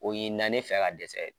O ɲinina ne fɛ ka dɛsɛ